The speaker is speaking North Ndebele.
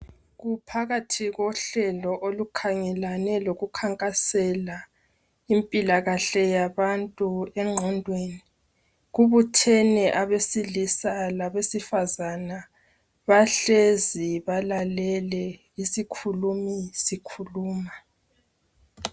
Kuphakathi kohlelo olukhangelane lokukhankasela impilakahle yabantu engqondweni kubuthene abesilisa labesifazana bahlezi balalele isikhulumi sikhuluma.